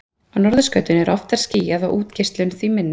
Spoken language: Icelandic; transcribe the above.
Á norðurskautinu er oftar skýjað og útgeislun því minni.